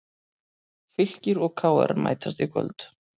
Fylkir og KR mætast í kvöld